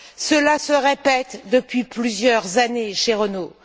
Cela se répète depuis plusieurs années chez Renault.